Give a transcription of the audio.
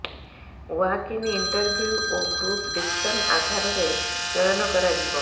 walk in interview ଓ group discussion ଆଧାରରେ ଚୟନ କରାଯିବ